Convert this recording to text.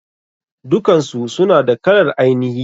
Dukansu suna da kalar ainihi.